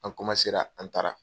An an taara.